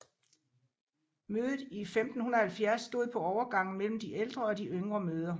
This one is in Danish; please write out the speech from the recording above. Mødet i 1570 stod på overgangen mellem de ældre og de yngre møder